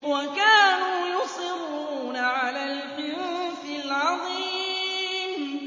وَكَانُوا يُصِرُّونَ عَلَى الْحِنثِ الْعَظِيمِ